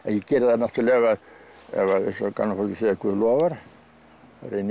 ég geri það náttúrulega ef að eins og gamla fólkið segir Guð lofar þá reyni ég